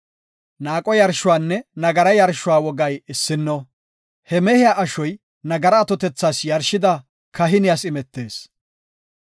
Naaqo yarshuwanne nagara yarshuwa wogay issinno. He mehiya ashoy nagara atotethas yarshida kahiniyas imetees.